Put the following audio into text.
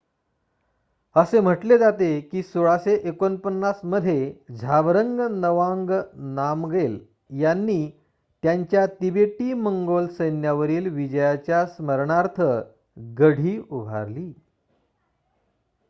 असे म्हटले जाते की १६४९ मध्ये झाबरंग नवांग नामगेल यांनी त्यांच्या तिबेटी-मंगोल सैन्यावरील विजयाच्या स्मरणार्थ गढी उभारली